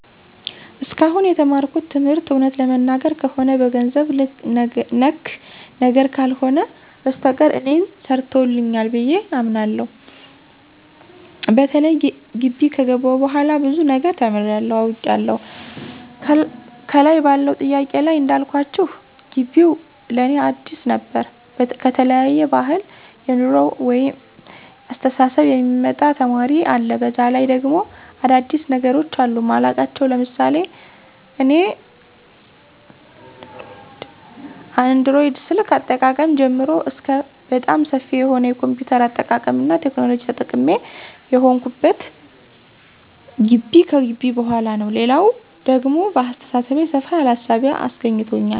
እስካሁን የተማርኩት ትምህርት እውነት ለመናገር ከሆነ በገንዘብ ነክ ነገር ካልሆነ በስተቀር እኔን ሰርቶኛል ብየ አምናለሁ። በተለይ ጊቢ ከገባሁ በኋላ ብዙ ነገር ተምሬያለሁ፤ አውቄያለሁ። ከላይ ባለው ጥያቄ ላይ እንዳልኳችሁ ጊቢው ለእኔ አዲስ ነበር ከተለያየ ባህል፣ የኑሮ ወይቤ፣ አስተሳሰብ የሚመጣ ተማሪ አለ፤ በዛ ላይ ደግሞ አዳዲስ ነገሮች አሉ ማላውቃቸው ለምሳሌ እኔ አንድሮይድ ስልክ አጠቃቀም ጀምሮ እስከ በጣም ሰፊ የሆነ የ ኮምፒውተር አጠቃቀምና ቴክኖሎጂ ተጠቃሚ የሆንሁት ጊቢ ከገባሁ በኋላ ነው። ሌላው ደግሞ በአሰተሳሰቤ ሰፋ ያለ እሳቤ አስገኝቶኛል።